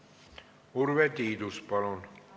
Urve Tiidus, palun!